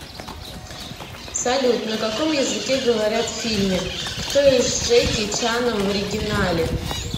салют на каком языке говорят в фильме кто я с джеки чаном в оригинале